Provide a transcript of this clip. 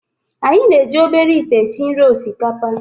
Anyị na-eji obere ite esi nri osikapa